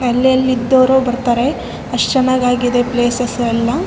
ಒಂದು ಕೋಟೆ ರೈಚೂರಲ್ಲಿ ಇದು ಬಾಳ ಫೇಮಸ್ .